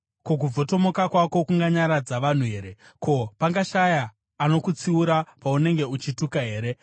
Ko, kubvotomoka kwako kunganyaradza vanhu here? Ko, pangashaya anokutsiura paunenge uchituka here?